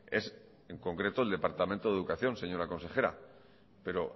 es en concreto el departamento de educación señora consejera pero